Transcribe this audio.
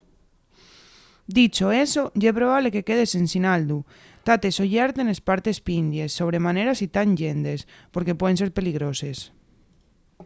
dicho eso ye probable que quedes ensin aldu tate sollerte nes partes pindies sobre manera si tán llentes porque pueden ser peligroses